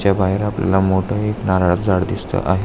च्या बाहेर आपल्याला मोठ एक नारळाच झाड दिसत आहे.